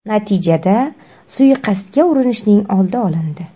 Natijada, suiqasdga urinishning oldi olindi.